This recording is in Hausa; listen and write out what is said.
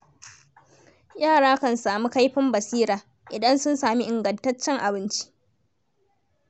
Yara kan sami kaifin basira, idan sun sami ingantaccen abinci.